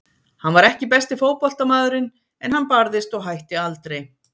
Hann var ekki besti fótboltamaðurinn en hann barðist og hætti aldrei.